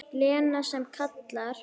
Lena sem kallar.